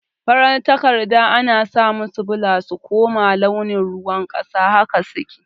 fararan takarda ana samusu bula su kuma launin ruwan ƙasa haka suke